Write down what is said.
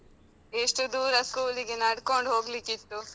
ಎಷ್ಟು ದೂರ ಸ್ಕೂಲಿಗೆ ನಡ್ಕೊಂಡ್ ಹೋಗ್ಲಿಕ್ಕಿತ್ತು.